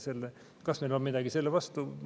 Ja kas meil on midagi selle vastu?